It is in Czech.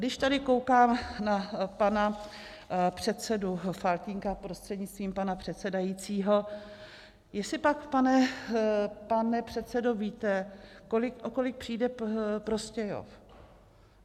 Když tady koukám na pana předsedu Faltýnka prostřednictvím pana předsedajícího, jestli pak, pane předsedo, víte, o kolik přijde Prostějov?